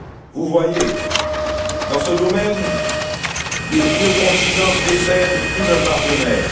Vous voyez, dans ce domaine, le vieux continent précède plus d'un partenaire.